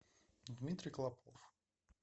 дмитрий клопов